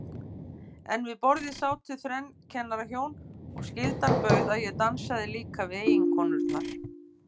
En við borðið sátu þrenn kennarahjón, og skyldan bauð að ég dansaði líka við eiginkonurnar.